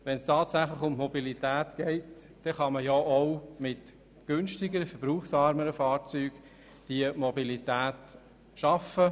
Wenn es tatsächlich um die Mobilität geht, kann man diese auch mit günstigeren, verbrauchsärmeren Fahrzeugen schaffen.